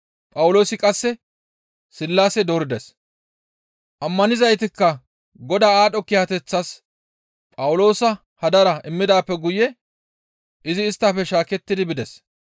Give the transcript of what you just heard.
Phawuloosi qasse Sillaase doorides; ammanizaytikka Godaa aadho kiyateththaas Phawuloosa hadara immidaappe guye izi isttafe shaakettidi bides.